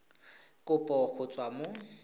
ya kopo go tswa mo